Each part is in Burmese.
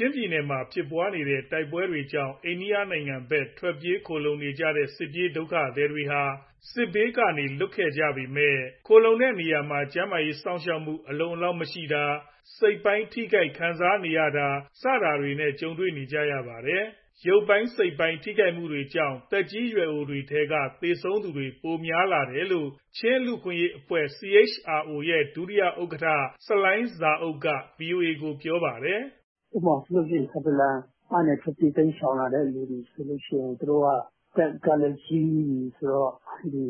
ျင်းပြည်နယ်မှာ ဖြစ်နေတဲ့ တိုက်ပွဲတွေကြောင့် အိန္ဒိယနိုင်ငံဘက် ထွက်ပြေးခိုလှုံနေကြတဲ့ စစ်ပြေးဒုက္ခသည်တွေဟာ စစ်ဘေးကနေ လွတ်ခဲ့ကြပေမဲ့ ခိုလှုံနေရတဲ့နေရာမှာ ကျန်းမာရေးစောင့်ရှောက်မှု အလုံအလောက်မရှိတာ၊ စိတ်ပိုင်းထိခိုက်ခံစားနေရတာတွေ ကြုံနေကြပါတယ်။ ရုပ်ပိုင်း စိတ်ပိုင်း ထိခိုက်မှုတွေကြောင့် သက်ကြီးပိုင်းထဲက သေဆုံးသူ ပိုပိုများလာတယ်လို့ ချင်းလူ့အခွင့်အရေးအဖွဲ့ CHRO ရဲ့ ဒုဥက္ကဋ္ဌ ဆလိုင်းဇာအုပ် ( Salai Za Uk) က ဗွီအိုအေကို ပြောပါတယ်။ “ အထူးသဖြင့် ထန်တလန်ကနေ ထွက်ပြေးတိမ်းရှောင်လာတဲ့သူတွေဆိုရင် သူတို့က အသက်ကလည်းကြီးပြီ၊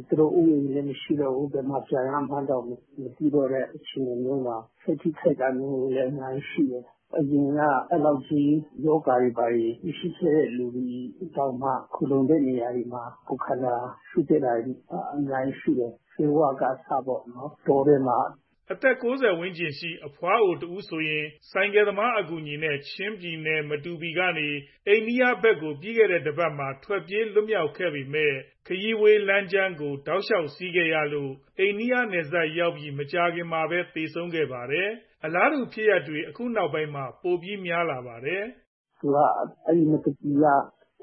သူတို့အိုးအိမ်တွေလည်း မရှိတော့ဘူး၊ ဘယ်မှာပြန်ရမှန်းတောင် မသိတော့တဲ့ အခြေအနေမျိုးမှာ စိတ်ထိခိုက်တာမျိုးလည်း အများကြီးရှိတယ်။ အရင်က အဲလောက်ကြီး ရောဂါတွေဘာတွေ မရှိခဲ့တဲ့သူတွေတောင်မှ ခိုလှုံတဲ့နေရာတွေမှာ ကိုယ်ခန္ဓာချို့တဲ့တာတွေ အများကြီးရှိတယ်။ ဆေးဝါးကုသမှုကလည်း ဆေးဝါးကအစပေါ့နော် တောထဲမှာ…။” အသက် ၉၀ ဝန်းကျင် အဘွားအိုတဦးဆိုရင် ဆိုင်ကယ်သမားအကူအညီနဲ့ ချင်းပြည်နယ်၊ မတူပီကနေ အိန္ဒိယဘက်ကို ပြီးခဲ့တဲ့ တပါတ်မှာ ထွက်ပြေးလွတ်မြောက်ခဲ့ပေမဲ့ ခရီးဝေးလမ်းကြမ်းကို တောက်လျှောက်စီးခဲ့ရလို့ အိန္ဒိယနယ်စပ်ရောက်ပြီး မကြာခင်မှာပဲ သေဆုံးခဲ့တာပါ။ အလားတူ ဖြစ်ရပ်တွေက အခုနောက်ပိုင်းမှာ ပိုပြီးများလာပါတယ်။ “ သူက အဲဒီမတူပီက ဟိုတလောက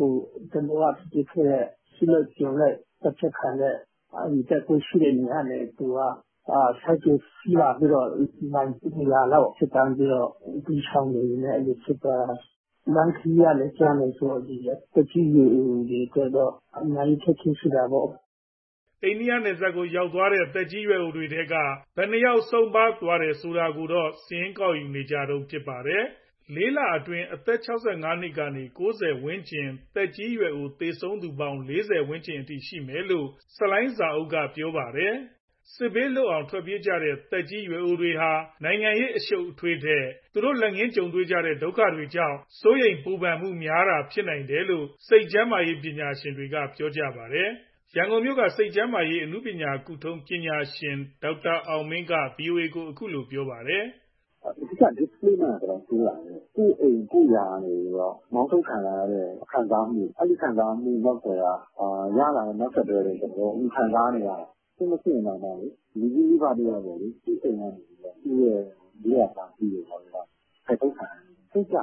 ဖြစ်ခဲ့တဲ့ အစုလိုက်အပြုံလိုက် သတ်ဖြတ်ခံရတဲ့ တပ်ခွဲရှိတဲ့နေရာကနေ သူကဆိုင်ကယ်စီးလာပြီးတော့ မိုင် ၂၀၀ လောက် ဖြတ်သန်းပြီးတော့ တိမ်းရှောင်နေရင်းနဲ့ အဲလိုဖြစ်သွားတာ။ လမ်းခရီးကလည်း ကြမ်းတယ်ဆိုတော့ သက်ကြီးရွယ်အိုတွေ အတွက်တော့ အများကြီး အခက်အခဲဖြစ်တာပေါ့။” အိန္ဒိယနယ်စပ်ကိုရောက်သွားတဲ့ သက်ကြီးရွယ်အိုတွေထဲက ဘယ်နှစ်ယောက် ဆုံးပါးသွားတယ်ဆိုတာကိုတော့ စာရင်းကောက်ယူနေကြတုံး ဖြစ်ပါတယ်။ လေးလအတွင်း အသက် ၆၅ နှစ်ကနေ ၉၀ ဝန်းကျင်ကြား သက်ကြီးရွယ်အို သေဆုံးသူပေါင်း ၄၀ ဝန်းကျင် ရှိမယ်လို့ ဆလိုင်းဇာအုပ်က ပြောပါတယ်။ စစ်ဘေးလွတ်အောင် ထွက်ပြေးခဲ့ကြရတဲ့ သက်ကြီးရွယ်အိုတွေဟာ နိုင်ငံရေးအရှုပ်အထွေးတွေထက် သူတို့လက်ငင်းကြုံတွေ့ရတဲ့ ဒုက္ခတွေကြောင့် စိုးရိမ်ပူပန်မှုဖြစ်တာ ပိုများနိုင်တယ်လို့ စိတ်ကျမ်းမာရေး ပညာရှင်တွေက ပြောကြပါတယ်။ ရန်ကုန်မြို့က စိတ်ကျန်းမာရေး အနုပညာကုထုံး ပညာရှင် ဒေါက်တာအောင်မင်းက ဗွီအိုအေကို အခုလိုပြောပြပါတယ်။ “ အဓိကတော့ displacement အတော်ဆိုးတာပဲ။ ကိုယ့်အိမ်၊ ကိုယ့်ယာကနေပြီးတော့ မောင်းထုတ်ခံရတဲ့ ခံစားမှု၊ အဲဒီခံစားမှု နောက်ကွယ်က နောက်ဆက်တွဲတွေ သူတို့ခံစားနေရတာ။ စစ်မဖြစ်ရင်တောင်မှလေ လူကြီးမိဘတယောက်ကို သူ့အိမ်၊ သူ့မွေးရာဇာတိကနေ ဖယ်ထုတ်ခံရင် စိတ်ကျ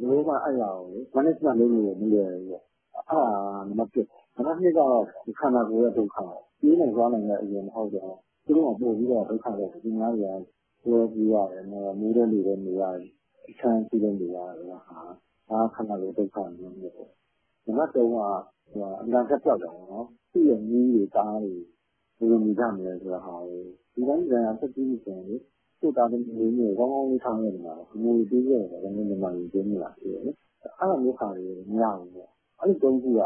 သွားတယ်။ ဘယ်လိုမှအဲဒါကို management လုပ်လို့လည်းမလွယ်ဘူးပေါ့ ။အဲဒါက နံပတ် ပေါ့။ နံပတ် ကတော့ ခန္ဓာကိုယ်ရဲ့ ဒုက္ခပေါ့၊ ပြေးနိုင်လွှားနိုင်တဲ့အရွယ် မဟုတ်တော့ သူတို့မှာပိုပြီး ဒုက္ခရောက်တယ်။ သူများတွေကဆွဲပြေးရတယ်၊ မိုးထဲလေထဲနေရတယ်၊ အချမ်းအစီးထဲနေရတယ်ဆိုတဲ့ဟာက ခန္ဓာကိုယ်ဒုက္ခပေါ့။ နံပတ် က အနာဂတ်ပျောက်တာပေါ့။ သူ့ရဲ့မြေးတွေ၊ သားတွေ ဘယ်လိုနေကြမလဲဆိုတဲ့ဟာကို၊ လူတိုင်းလူတိုင်းက အသက်ကြီးပြီဆိုရင်လေ ကိုယ့်သားသမီးမြေးတွေကို ကောင်းကောင်းကြီး ထားခဲ့ချင်တယ်၊ အမွေတွေပေးခဲ့ချင်တယ်၊ အဲဒါမျိုးဟာတွေကို မရဘူးပေါ့။ အဲဒီသုံးခုက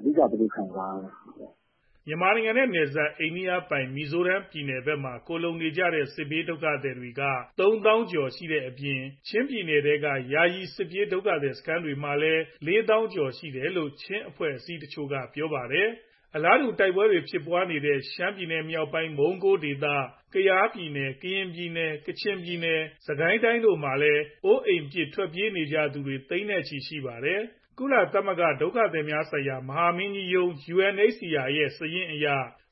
အဓိက သူတို့ခံစားရတဲ့ဟာပေါ့။” မြန်မာနိုင်ငံနဲ့နယ်စပ် အိန္ဒိယ မီဇိုရမ်ပြည်နယ်ဘက်မှာ ခိုလှုံနေတဲ့ စစ်ဘေးဒုက္ခသည်က ၃၀,၀၀၀ ကျော်ရှိနေတဲ့အပြင်၊ ချင်းပြည်နယ်ထဲက ယာယီစစ်ဘေးဒုက္ခသည်စခန်းတွေမှာ ၄၀,၀၀၀ ကျော်ရှိတယ်လို့ ချင်းအဖွဲ့အစည်းတချို့က ပြောပါတယ်။ အလားတူပဲ တိုက်ပွဲတွေဖြစ်နေတဲ့ ရှမ်းပြည်နယ်မြောက်ပိုင်း မုံးကိုးဒေသ၊ ကယားပြည်နယ်၊ ကရင်ပြည်နယ်၊ ကချင်ပြည်နယ်၊ စစ်ကိုင်းတိုင်းတို့မှာလဲ အိုအိမ်ပြစ်ထွက်ပြေးနေကြရသူတွေ သိန်းနဲ့ချီရှိနေပါတယ်။ ကုလသမဂ္ဂဒုက္ခသည်များဆိုင်ရာမဟာမင်းကြီးရုံး ရဲ့ စာရင်းအရ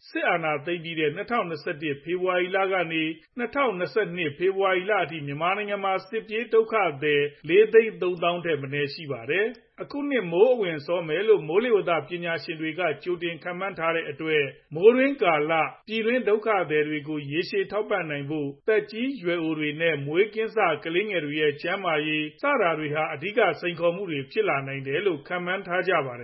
စစ်အာဏာသိမ်းပြီးတဲ့ ၂၀၂၁ ဖေဖော်ဝါရီလကနေ ၂၀၂၂ ခုနှစ် ဖေဖော်ဝါရီလအထိ မြန်မာနိုင်ငံမှာ စစ်ပြေးဒုက္ခသည် ၄ သိန်း ၃ သောင်းထက်မနည်း ရှိပါတယ်။ အခုနှစ်မိုးအဝင် စောမယ်လို့ မိုးလေဝသပညာရှင်တွေက ကြိုတင်ခန့်မှန်းထားတဲ့အတွက် မိုးတွင်းကာလ ပြည်တွင်းဒုက္ခသည်တွေကို ရေရှည်ထောက်ပံ့နိုင်ဖို့၊ သက်ကြီးရွယ်အိုတွေနဲ့ မွေးကင်းစ ကလေးငယ်တွေရဲ့ ကျန်းမာရေး ဒါတွေဟာ အဓိကစိန်ခေါ်မှုတွေ ဖြစ်လာနိုင်တယ်လို့ ခန့်မှန်းထားကြပါတယ်